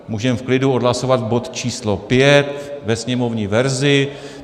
Můžeme v klidu odhlasovat bod číslo 5 ve sněmovní verzi.